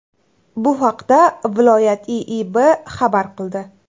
Bu haqda viloyat IIB xabar qildi .